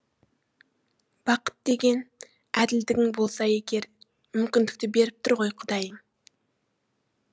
бақыт деген әділдігің болса егер мүмкіндікті беріп тұр ғой құдайың